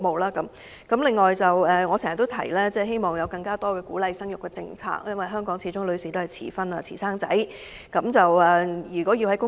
關於生育方面，我經常提及希望政府會制訂更多鼓勵生育的政策，因為香港的女士傾向遲婚及遲生育。